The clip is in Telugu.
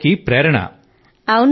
ఆయన అందరికీ ప్రేరణ